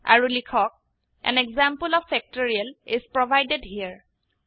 আৰু লিখক160 an example of factorial is provided হেৰে